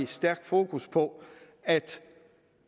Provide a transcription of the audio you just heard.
stærkt fokus på at